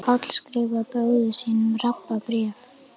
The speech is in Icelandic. Páll skrifar bróður sínum Rabba bréf.